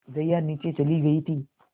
जया नीचे चली गई थी